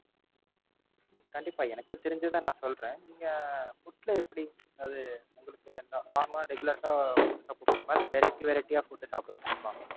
உம் கண்டிப்பா எனக்கு தெரிஞ்சத நான் சொல்றேன். நீங்க Food ல எப்படி அதாவது உங்களுக்கு இந்த Normal ஆ Regulars ஆ Food சாப்ட பிடிக்குமா இல்ல Variety variety ஆ Food சாப்ட பிடிக்குமா?